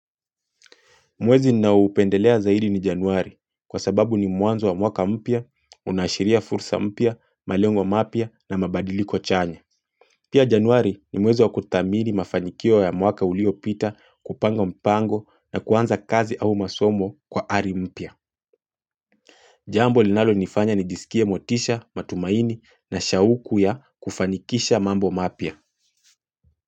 Mwezi ninaoupendelea zaidi ni januari kwa sababu ni mwanzo wa mwaka mpya, unaashiria fursa mpya, malengo mapya na mabadiliko chanya. Pia januari ni mwezi wa kuthamiri mafanikio ya mwaka uliopita kupanga mpango na kuanza kazi au masomo kwa ari mpya. Jambo linalonifanya nijisikia motisha, matumaini na shauku ya kufanikisha mambo mapya.